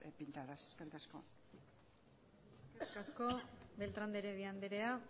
pintadas eskerrik asko eskerrik asko beltrán de heredia andrea